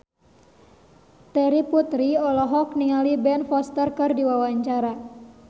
Terry Putri olohok ningali Ben Foster keur diwawancara